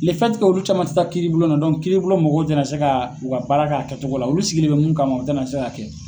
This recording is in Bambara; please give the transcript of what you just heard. olu caman tɛ taa kiiribulon na kiiribulon mɔgɔw tɛna se ka u ka baara k'a kɛcogo la olu sigilen bɛ mun kama o tɛna se ka kɛ.